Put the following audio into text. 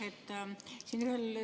Aitäh!